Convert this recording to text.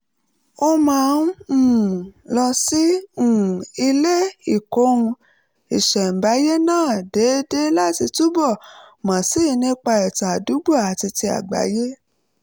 ó máa um ń lọ sí um ilé ìkóhun-ìṣẹ̀ǹbáyé náà déédéé láti túbọ̀ mọ̀ sí i nípa ìtàn àdúgbò àti ti àgbáyé